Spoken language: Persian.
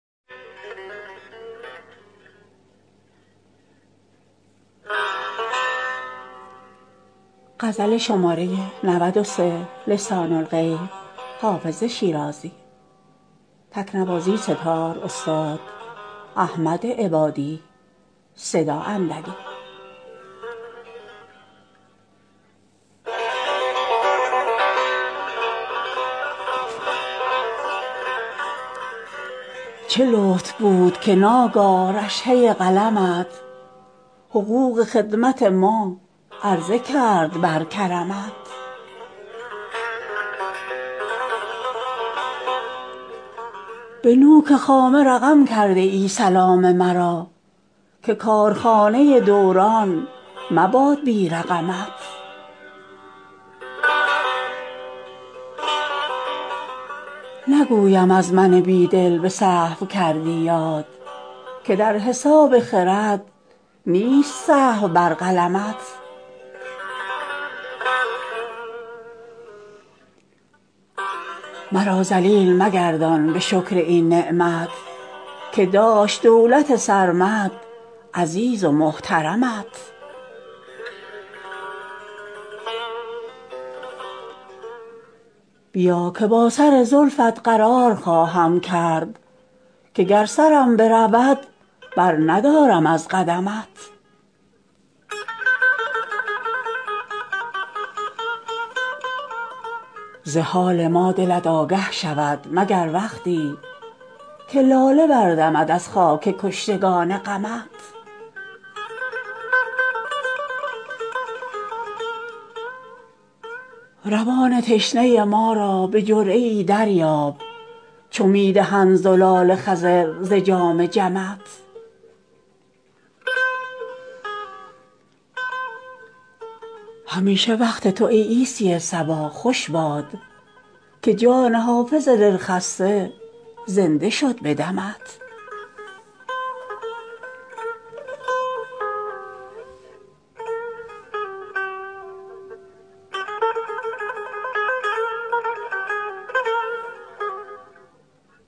چه لطف بود که ناگاه رشحه قلمت حقوق خدمت ما عرضه کرد بر کرمت به نوک خامه رقم کرده ای سلام مرا که کارخانه دوران مباد بی رقمت نگویم از من بی دل به سهو کردی یاد که در حساب خرد نیست سهو بر قلمت مرا ذلیل مگردان به شکر این نعمت که داشت دولت سرمد عزیز و محترمت بیا که با سر زلفت قرار خواهم کرد که گر سرم برود برندارم از قدمت ز حال ما دلت آگه شود مگر وقتی که لاله بردمد از خاک کشتگان غمت روان تشنه ما را به جرعه ای دریاب چو می دهند زلال خضر ز جام جمت همیشه وقت تو ای عیسی صبا خوش باد که جان حافظ دلخسته زنده شد به دمت